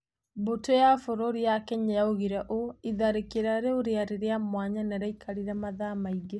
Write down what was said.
Mbũtũ ya bũrũri ya Kenya yoigire ũũ: "Itharĩkĩrwo rĩu rĩarĩ rĩa mwanya na rĩakarire mathaa maingĩ".